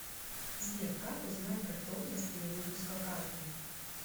сбер как узнать готовность перевыпуска карты